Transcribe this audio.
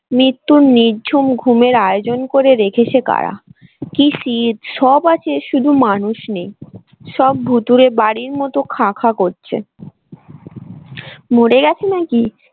মৃত্যুর নির্ঝুম ঘুমের আয়োজন করে রেখেছে কারা কি শীত সব আছে শুধু মানুষ নেই সব ভুতুড়ে বাড়ির মত খা খা করছে মরে গেছে নাকি।